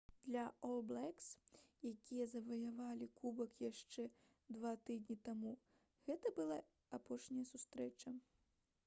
для «ол блэкс» якія заваявалі кубак яшчэ два тыдні таму гэта была апошняя сустрэча